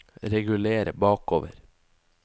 reguler bakover